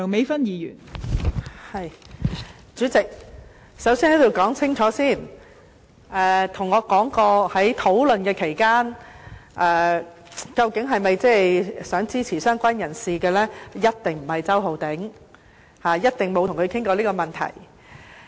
代理主席，首先，我要在此說清楚，在討論期間曾跟我談到是否想支持"相關人士"的人，一定不是周浩鼎議員，我一定沒有與他談過這問題。